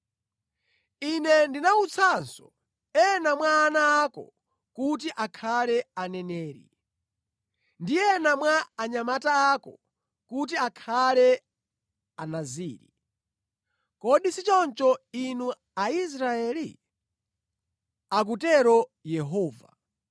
Ine ndinawutsanso ena mwa ana ako kuti akhale aneneri, ndi ena mwa anyamata ako kuti akhale anaziri. Kodi si choncho, inu Aisraeli?” akutero Yehova.